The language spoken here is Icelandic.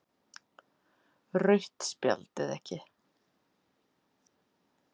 Rautt spjald eða ekki?